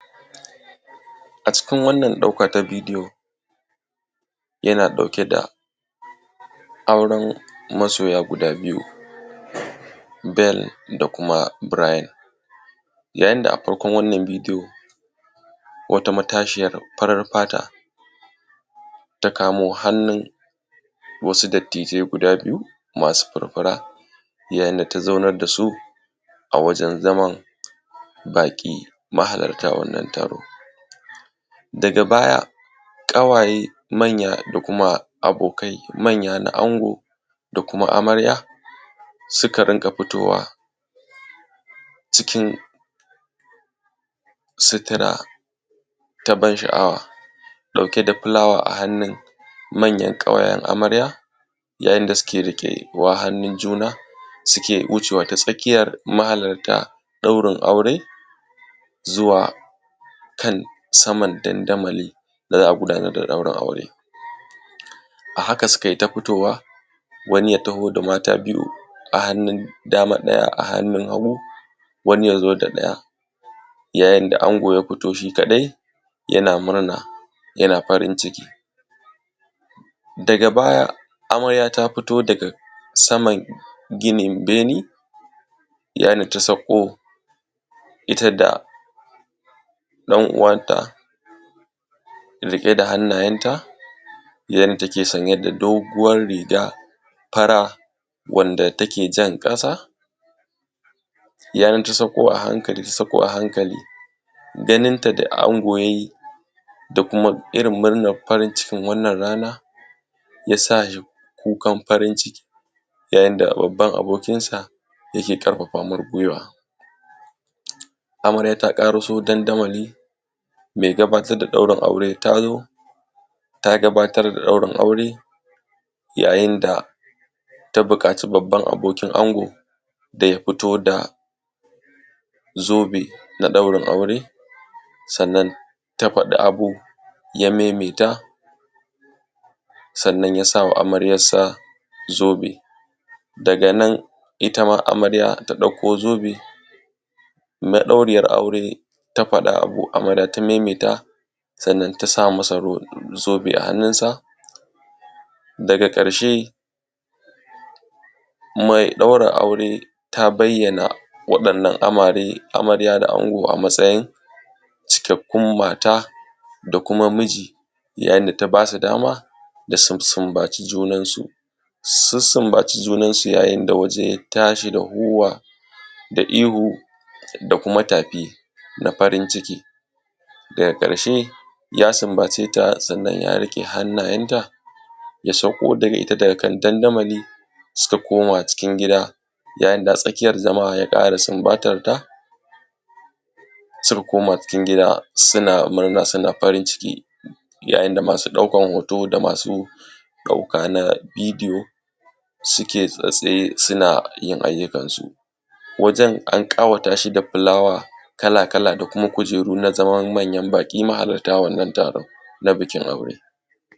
A cikin wannan ɗauka ta bidiyo yana ɗauke da auran masoya guda biyu Bell da kuma Bril yayin da a farkon wannan bidiyon wata matashiya farin fata ta kamo hannun wasu dattijai guda biyu masu furfura yayin da ta zaunar da su a wajan zaman baƙi mahallarta wannan taro, daga baya ƙawaye suna futowa cikin sutura ta ban sha’awa ɗauke da fulawa a hannun manyan ƙawayen amare ya ta inda suke riƙe wa hannu juna suke wucewa ta tsakiyar mahallarta wannan aure zuwa kan saman dandamalin da za a gudanar da ɗaurin aure. A haka sukai ta futowa wani ya taho da mata biyu a hannun dama, a hannun hagu wani ya zo da ɗaya yayin da ango ya fito shi kaɗai yana murna yana farinciki daga baya amarya ta futo daga saman ginin bene yayin da ta sakko ita da ɗan uwanta riƙe da hannayenta yanda take sanye da doguwan riga wanda take jan ƙasa yayin da ta sakko a hankali ganinta da ana yayi da kuma irin murnan farincikin wannan rana ya sa kukan farinciki yayin da babban abokin sa yake ƙarfafa mai gwiwa, amarya ta ƙari so dandamali mai gabatar da ɗaurin aure ta zo ta gabatar da ɗaurin aure yayin da ta buƙaci babban abokin ango da ya futo da zobenaa ɗaurin aure. Sannan ta faɗi abu ya maimaita sannan ya sa wa amaryarsa zobe daga nan itama amarya ta ɗauko zobe madauriyar auure ta faɗa ita ma ta maimaita sannan ta sa masa zobe a hanunsa daga ƙarshe kuma ya yi ɗaurin aure ta bayyana waɗannan amare. Amarya da Ango a matsayin cikakkun mata da kuma miji yayin da ta basu dama da su sunbaci junansu sun sunbaci sunansu yayin da waje ya tashi da tsuwa da ihu da kuma tafi na farinciki daga ƙarshe ya sumbace ta sannan ya rike hannayenta ya sauko da ita daga kan dandamali su koma cikin gida yayin da a tsakiyan zama ya ƙara sumbatanta suka koma cikin gida suna murna suna farinciki yayin da mai ɗaukan hoto da masu ɗauka hoto na bidiyo suke tsaye sunayin ayyukansu wajen ankawatasu da flowa kala-kala da kuma kujeru na tsawon manyar baki na.